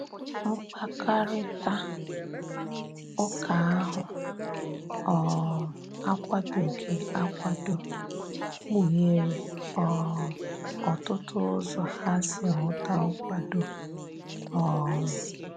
Mkpakarita ụka ahu um akwadoghi akwado, kpuhere um otụtụ ụzọ ha si huta nkwado. um